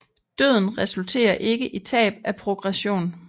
Døden resulterer ikke i tab af progression